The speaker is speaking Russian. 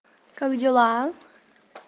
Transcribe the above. как дела